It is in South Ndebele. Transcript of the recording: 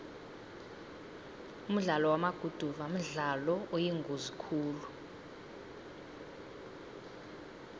umdlalo wamaguduva mdlalo oyingozi khulu